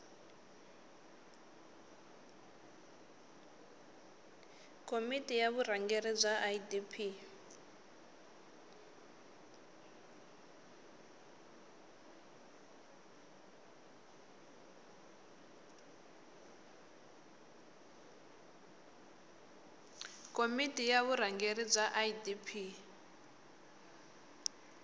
komiti ya vurhangeri bya idp